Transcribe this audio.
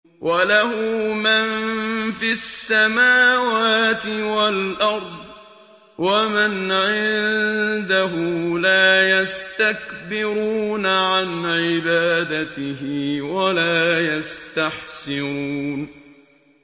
وَلَهُ مَن فِي السَّمَاوَاتِ وَالْأَرْضِ ۚ وَمَنْ عِندَهُ لَا يَسْتَكْبِرُونَ عَنْ عِبَادَتِهِ وَلَا يَسْتَحْسِرُونَ